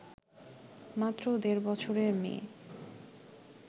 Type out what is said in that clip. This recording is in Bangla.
মাত্র দেড় বছরের মেয়ে